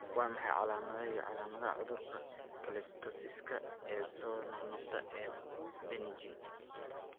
Waa maxay calamadaha iyo calaamadaha cudurka cholestasiska ee soo noqnoqda ee Benign?